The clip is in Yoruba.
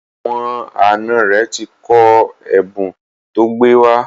Àwọn àna rẹ̀ ti kọ ẹ̀bùn tó gbé wá.